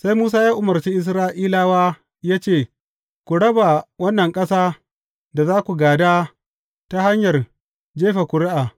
Sai Musa ya umarci Isra’ilawa ya ce, Ku raba wannan ƙasa da za ku gāda ta hanyar jefa ƙuri’a.